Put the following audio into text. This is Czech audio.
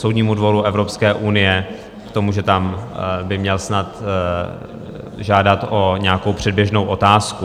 Soudnímu dvoru Evropské unie, k tomu, že tam by měl snad žádat o nějakou předběžnou otázku.